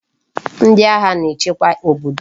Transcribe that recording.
Ndi agha na echekwa obodo